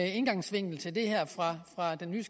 indgangsvinkel til det fra den nye